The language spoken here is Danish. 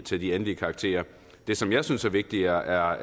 til de endelige karakterer det som jeg synes er vigtigere er